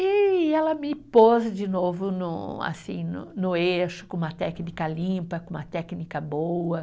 E ela me pôs de novo no, assim no no eixo, com uma técnica limpa, com uma técnica boa.